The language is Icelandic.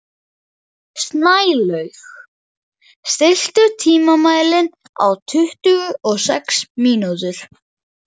Snælaug, stilltu tímamælinn á tuttugu og sex mínútur.